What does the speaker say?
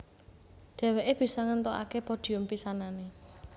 Dhèwèké bisa ngèntukaké podhium pisanané